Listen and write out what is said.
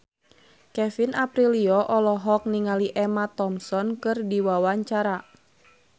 Kevin Aprilio olohok ningali Emma Thompson keur diwawancara